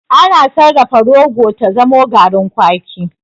Ana sarrafa rogo ta zamo garin kwaki.